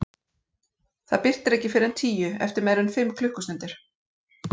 Það birtir ekki fyrr en tíu, eftir meira en fimm klukkustundir.